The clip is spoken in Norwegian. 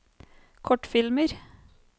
kortfilmer